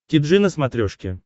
ти джи на смотрешке